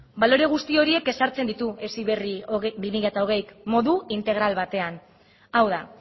balore guzti horiek ezartzen ditu heziberri bi mila hogeik modu integral batean hau da